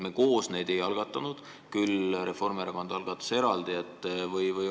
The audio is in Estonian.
Me koos neid ei algatanud, Reformierakond algatas eraldi eelnõu.